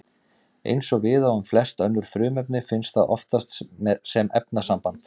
Eins og við á um flest önnur frumefni finnst það oftast sem efnasamband.